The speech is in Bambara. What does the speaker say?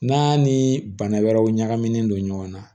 N'a ni bana wɛrɛw ɲagamina don ɲɔgɔn na